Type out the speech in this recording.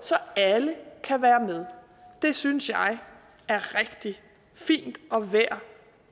så alle kan være med det synes jeg er rigtig fint og værd